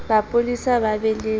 ba polasi ba be le